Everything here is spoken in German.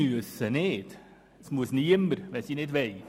Wenn sie nicht wollen, müssen sie nicht davon Gebrauch machen.